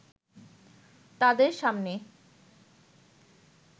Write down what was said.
তাদের সামনে